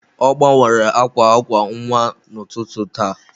Ọ gbanwere akwa akwa nwa n'ụtụtụ taa.